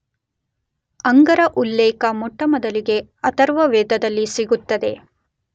ಅಂಗರ ಉಲ್ಲೇಖ ಮೊಟ್ಟಮೊದಲಿಗೆ ಅಥರ್ವವೇದದಲ್ಲಿ ಸಿಗುತ್ತದೆ.